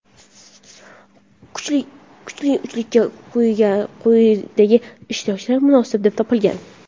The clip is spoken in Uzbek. kuchli uchlikka quyidagi ishtirokchilar munosib deb topilgan:.